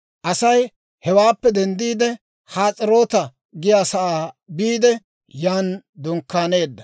Asay hewaappe denddiide Has'eroota giyaasaa biide, yan dunkkaaneedda.